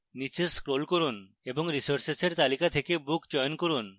নীচে scroll করুন এবং resources এর তালিকা থেকে book চয়ন করুন